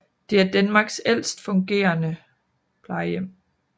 Det er Danmarks ældste fungerende plejehjem